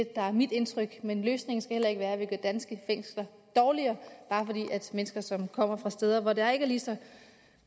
der er mit indtryk men løsningen skal heller ikke være at vi gør danske fængsler dårligere bare fordi mennesker som kommer fra steder hvor der ikke er lige så